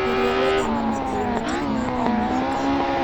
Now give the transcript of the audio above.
Geria gwĩthema mathiirĩ matarĩ ma o mũhaka.